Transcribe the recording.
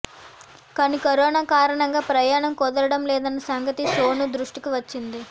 కానీ కరోనా కారణంగా ప్రయాణం కుదరడం లేదన్న సంగతి సోను దృష్టికి వచ్చింది